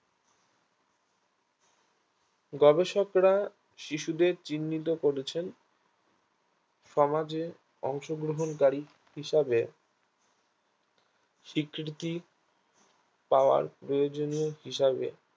গবেষকরা শিশুদের চিহ্নিত করেছেন সমাজে অংশগ্রহণকারী হিসাবে স্বীকৃতি পাওয়ার প্রয়োজনীয় হিসাবে